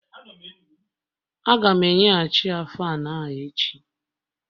Aga m enye ghachiya Faanụ a echi